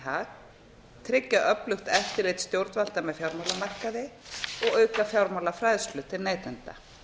hag tryggja öflugt eftirlit stjórnvalda með fjármálamarkaði og auka fjármálafræðslu til neytenda